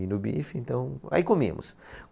E no bife, então... Aí comíamos.